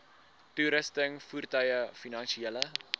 toerusting voertuie finansiële